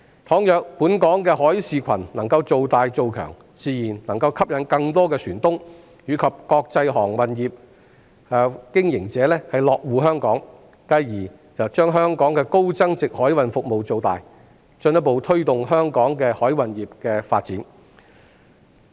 倘若本港的海事群能夠造大、造強，自然能夠吸引更多船東及國際航運業經營者落戶香港，繼而將香港的高增值海運服務造大，進一步推動香港海運業的發展。